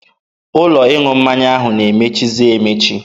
Ụlọ ịṅụ mmanya ahụ na-emechizi emechi.